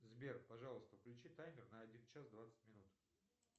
сбер пожалуйста включи таймер на один час двадцать минут